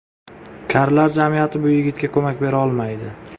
Karlar jamiyati bu yigitga ko‘mak bera olmaydi.